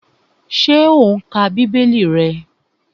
Ṣé o n ka bíbélì rẹ?